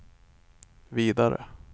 vidare